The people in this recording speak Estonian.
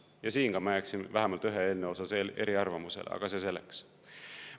Ja siin ka ma jääksin vähemalt ühe eelnõu osas eriarvamusele, aga see selleks.